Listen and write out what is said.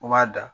U b'a da